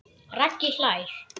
Raggi hlær.